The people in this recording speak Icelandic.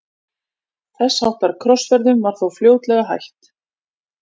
Þess háttar krossferðum var þó fljótlega hætt.